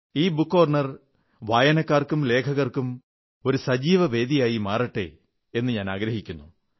ഈ book corner വായനക്കാർക്കും ലേഖകർക്കും ഒരു സജീവ വേദിയായി മാറട്ടെ എന്നു ഞാനാഗ്രഹിക്കുന്നു